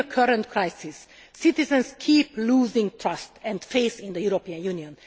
During the current crisis, citizens keep losing trust and faith in the European Union.